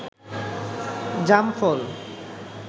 জাম ফল